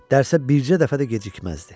Dərsə bircə dəfə də gecikməzdi.